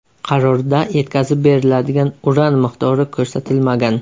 Qarorda yetkazib beriladigan uran miqdori ko‘rsatilmagan.